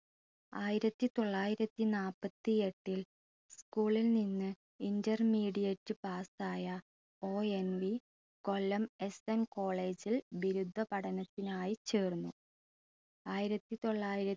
ആയിരത്തി തൊള്ളായിരത്തി നാൽപ്പത്തിയെട്ടിൽ school ൽ നിന്ന് intermediate pass ആയ ONV കൊല്ലം SNcollege ൽ ബിരുദ പഠനത്തിനായി ചേർന്നു ആയിരത്തി തൊള്ളായിര